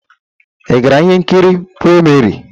Ị gara ihe nkiri premiere?